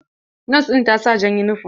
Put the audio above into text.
Nos ɗin ta sa jan yunifom.